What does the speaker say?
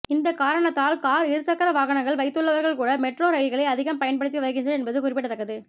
இந்த காரணத்தால் கார் இருசக்கர வாகனங்கள் வைத்துள்ளவர்கள் கூட மெட்ரோ ரயில்களை அதிகம் பயன்படுத்தி வருகின்றனர் என்பது குறிப்பிடத்தக்கது